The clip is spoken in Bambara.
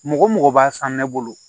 Mɔgɔ mɔgɔ b'a san ne bolo